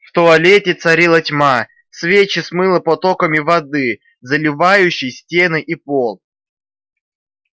в туалете царила тьма свечи смыло потоками воды заливающей стены и пол